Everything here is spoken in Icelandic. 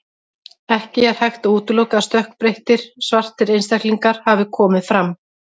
Ekki er hægt að útiloka að stökkbreyttir, svartir einstaklingar hafi komið fram.